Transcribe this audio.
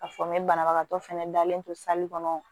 Ka fɔ n be banabagatɔ fɛnɛ dalen don kɔnɔ